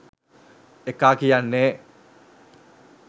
ඒකා කියන්නේ